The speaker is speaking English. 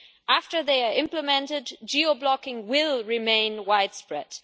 After they are implemented, geo-blocking will remain widespread.